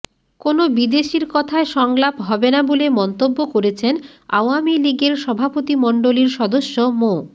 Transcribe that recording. কোনো বিদেশির কথায় সংলাপ হবে না বলে মন্তব্য করেছেন আওয়ামী লীগের সভাপতিমণ্ডলীর সদস্য মো